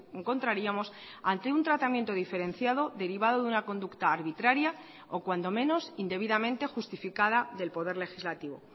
encontraríamos ante un tratamiento diferenciado derivado de una conducta arbitraria o cuando menos indebidamente justificada del poder legislativo